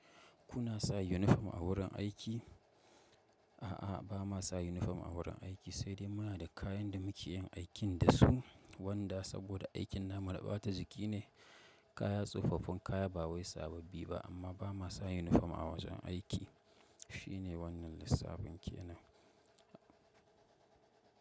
Kuna sa yunifom a wurin aiki? A'a, ba ma sa yunifom a wurin aiki, sai dai muna da kayan da muke yin aikin da su, wanda saboda aikin na mu na ba ta jiki ne, kaya, tsofaffin kaya, ba wai sababbi ba, amma ba ma sa yunifom a wajen aiki. Shi ne wannan lissafin ke nan.